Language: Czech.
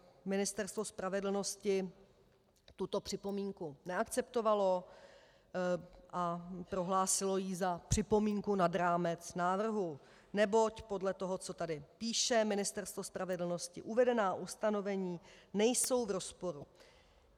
Ministerstvo spravedlnosti tuto připomínku neakceptovalo a prohlásilo ji za připomínku nad rámec návrhu, neboť podle toho, co tady píše Ministerstvo spravedlnosti, uvedená ustanovení nejsou v rozporu.